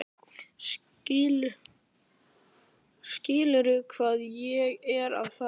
Skilurðu hvað ég er að fara?